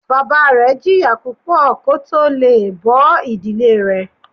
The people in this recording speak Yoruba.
Bàbá rẹ jìyà púpọ̀ kó tó le è bó ìdílé rẹ̀